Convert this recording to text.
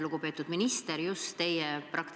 Lugupeetud minister!